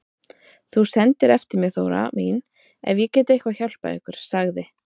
Þú sendir eftir mér Þóra mín ef ég get eitthvað hjálpað ykkur, sagði